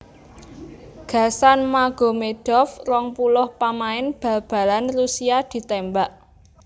Gasan Magomedov rong puluh pamain bal balan Rusia ditémbak